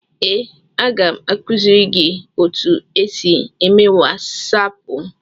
Ee, aga m akụziri gị otu esi eme wasaapụ.